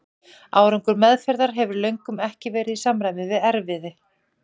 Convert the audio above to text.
Árangur meðferðar hefur löngum ekki verið í samræmi við erfiði.